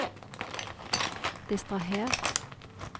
distraher